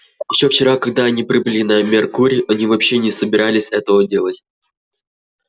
ещё вчера когда они прибыли на меркурий они вообще не собирались этого делать